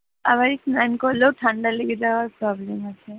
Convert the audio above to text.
আমার এই স্নান করলেও ঠান্ডা লেগে যাওয়ার problem আছে।